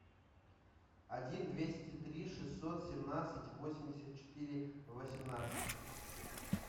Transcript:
один двести три шестьсот семнадцать восемьдесят четыре восемнадцать